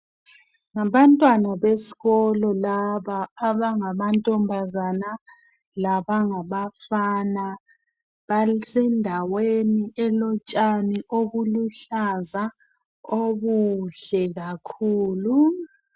Ngabantwana besikolo laba abangamantombazana labangabafana basendaweni elotshani olubuhlaza obuhle kakhulu.